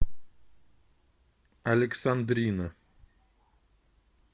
александрина